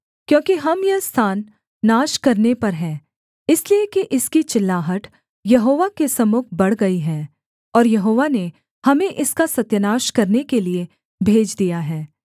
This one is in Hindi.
क्योंकि हम यह स्थान नाश करने पर हैं इसलिए कि इसकी चिल्लाहट यहोवा के सम्मुख बढ़ गई है और यहोवा ने हमें इसका सत्यानाश करने के लिये भेज दिया है